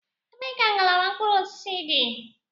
Ebee ka ngalaba mkpụrụ osisi dị?